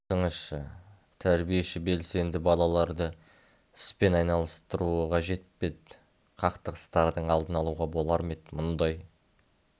айтыңызшы тәрбиеші белсенді балаларды іспен айналыстыруы қажет пе еді қақтығыстардың алдын алуға болар ма еді мұндай